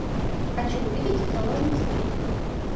хочу увидеть заложница три